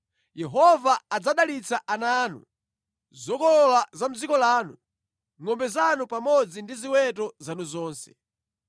Yehova adzadalitsa ana anu, zokolola za mʼdziko lanu, ngʼombe zanu pamodzi ndi ziweto zanu zonse.